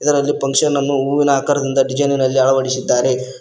ಇದರಲ್ಲಿ ಫಂಕ್ಷನ್ ಅನ್ನು ಹೂವಿನ ಆಕಾರದಿಂದ ಡಿಜೖನಿನಲ್ಲಿ ಅಳವಡಿಸಿದ್ದಾರೆ.